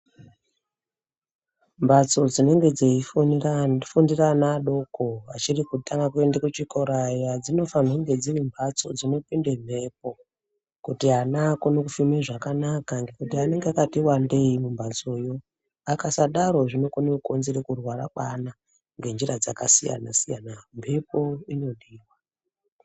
Mhatso dzinenge dzeifundira ana adoko vachiri kutanga kuenda kuchikora aya dzinofanirwe kunge dziri mhatso dzinopinde mhepo kuti ana akone kufema zvakanaka ngekuti anenge akati wandei mumbatsoyo akasadaro zvinokone kukonzera kurwara kweana ngenzira dzakasiyana siyana, mhepo inodiwa.